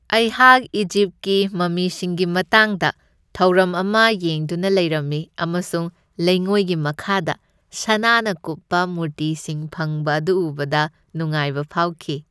ꯑꯩꯍꯥꯛ ꯏꯖꯤꯞꯀꯤ ꯃꯝꯃꯤꯁꯤꯡꯒꯤ ꯃꯇꯥꯡꯗ ꯊꯧꯔꯝ ꯑꯃ ꯌꯦꯡꯗꯨꯅ ꯂꯩꯔꯝꯃꯤ ꯑꯃꯁꯨꯡ ꯂꯩꯉꯣꯏꯒꯤ ꯃꯈꯥꯗ ꯁꯅꯥꯅ ꯀꯨꯞꯄ ꯃꯨꯔꯇꯤꯁꯤꯡ ꯐꯪꯕ ꯑꯗꯨ ꯎꯕꯗ ꯅꯨꯡꯉꯥꯏꯕ ꯐꯥꯎꯈꯤ꯫